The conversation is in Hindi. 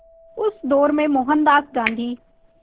उस दौर में मोहनदास गांधी